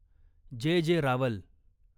जे. जे. रावल